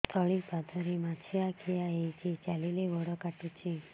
ତଳିପାଦରେ ମାଛିଆ ଖିଆ ହେଇଚି ଚାଲିଲେ ବଡ଼ କାଟୁଚି